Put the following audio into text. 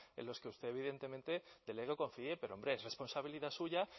en los que usted evidentemente delegue o confíe pero hombre es responsabilidad suya